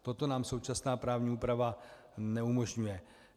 Toto nám současná právní úprava neumožňuje.